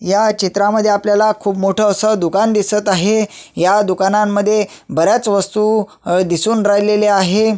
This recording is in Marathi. हया चित्रामध्ये आपल्याला खुप मोठ अस दुकान दिसत आहे हया दुकानांमध्ये बऱ्याच वस्तु अ दिसून राहिलेले आहे.